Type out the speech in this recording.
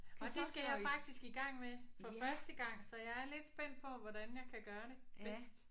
Og det skal jeg faktisk i gang med for første gang så jeg er lidt spændt på hvordan jeg kan gøre det bedst